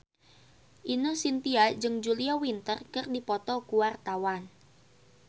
Ine Shintya jeung Julia Winter keur dipoto ku wartawan